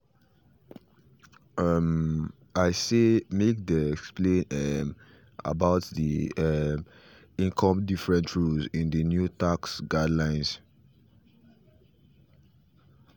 um i say make they explain um about the um income different rules in the new tax guidelines